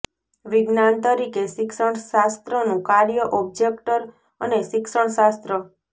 વિજ્ઞાન તરીકે શિક્ષણ શાસ્ત્રનું કાર્ય ઑબ્જેક્ટ અને શિક્ષણ શાસ્ત્ર